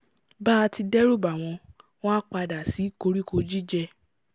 bá ti dẹ́rù bà wọ́n wọ́n á padà sí koríko jíjẹ